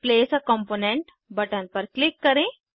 place a component button पर click करें